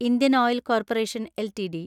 Indian oil corporation LTD